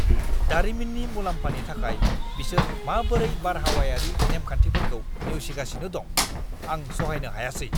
दारिमिननि मुलाम्फानि थाखाय बिसोर माबोरै बारहावायारि नेमखान्थिफोरखौ नेवसिगासिनो दं, आं सहायनो हायासै!